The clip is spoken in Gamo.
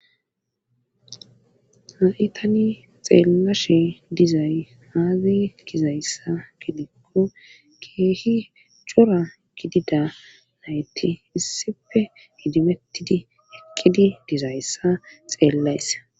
ha7i tan xeellashe dizay haage kizayssa gidikko keehi cora gidida nayti issife hijimettidi eqqidi dizayssa xeellayssa